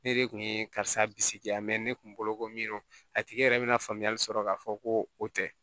Ne de kun ye karisa bisigi yan ne kun bolo ko min don a tigi yɛrɛ bɛna faamuyali sɔrɔ k'a fɔ ko o tɛ